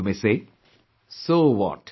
You may say, "So what